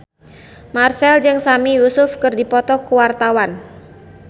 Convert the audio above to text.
Marchell jeung Sami Yusuf keur dipoto ku wartawan